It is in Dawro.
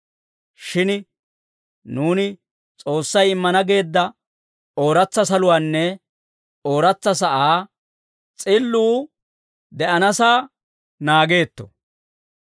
Shin nuuni S'oossay immana geedda ooratsa saluwaanne ooratsa sa'aa s'illuu de'anasaa naageetto.